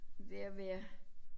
Ved at være